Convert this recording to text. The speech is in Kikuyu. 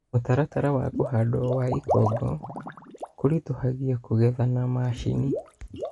Mũtarata wa kũhandwo wa ikongo kũritohagia kũgetha na mashini